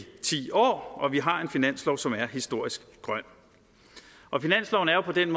ti år og vi har en finanslov som er historisk grøn finansloven er jo på den